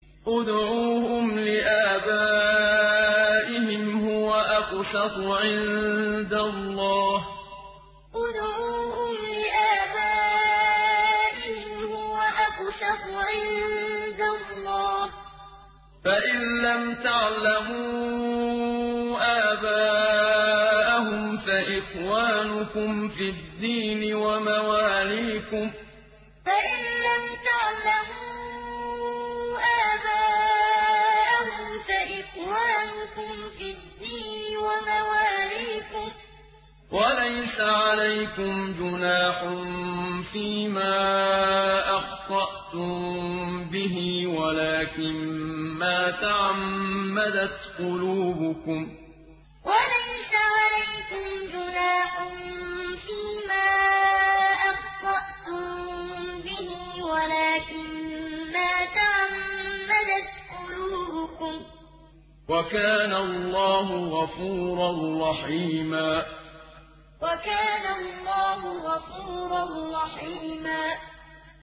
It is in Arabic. ادْعُوهُمْ لِآبَائِهِمْ هُوَ أَقْسَطُ عِندَ اللَّهِ ۚ فَإِن لَّمْ تَعْلَمُوا آبَاءَهُمْ فَإِخْوَانُكُمْ فِي الدِّينِ وَمَوَالِيكُمْ ۚ وَلَيْسَ عَلَيْكُمْ جُنَاحٌ فِيمَا أَخْطَأْتُم بِهِ وَلَٰكِن مَّا تَعَمَّدَتْ قُلُوبُكُمْ ۚ وَكَانَ اللَّهُ غَفُورًا رَّحِيمًا ادْعُوهُمْ لِآبَائِهِمْ هُوَ أَقْسَطُ عِندَ اللَّهِ ۚ فَإِن لَّمْ تَعْلَمُوا آبَاءَهُمْ فَإِخْوَانُكُمْ فِي الدِّينِ وَمَوَالِيكُمْ ۚ وَلَيْسَ عَلَيْكُمْ جُنَاحٌ فِيمَا أَخْطَأْتُم بِهِ وَلَٰكِن مَّا تَعَمَّدَتْ قُلُوبُكُمْ ۚ وَكَانَ اللَّهُ غَفُورًا رَّحِيمًا